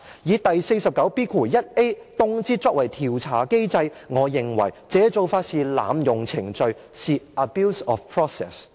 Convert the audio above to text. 以第 49B 條動輒作為調查機制，我認為這做法是濫用程序，是 abuse of process。